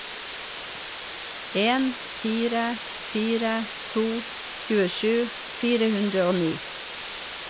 en fire fire to tjuesju fire hundre og ni